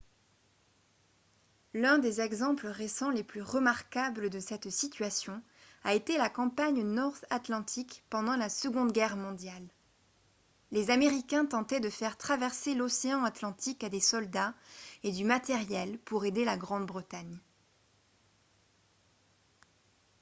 l'un des exemples récents les plus remarquables de cette situation a été la campagne north atlantic pendant la seconde guerre mondiale les américains tentaient de faire traverser l'océan atlantique à des soldats et du matériel pour aider la grande-bretagne